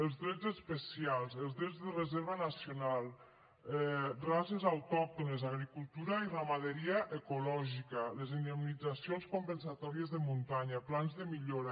els dret especials els drets de reserva nacional races autòctones agricultura i ramaderia ecològica les indemnitzacions compensatòries de muntanya plans de millora